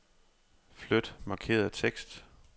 Flyt markerede tekst.